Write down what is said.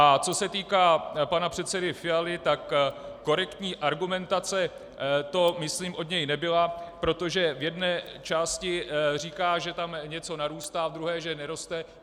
A co se týká pana předsedy Fialy, tak korektní argumentace to myslím od něj nebyla, protože v jedné části říká, že tam něco narůstá, v druhé, že neroste.